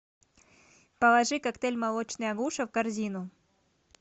положи коктейль молочный агуша в корзину